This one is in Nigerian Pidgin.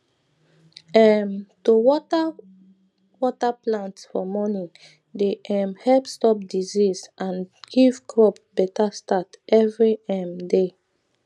um to water water plant for morning dey um help stop disease and give crop better start every um day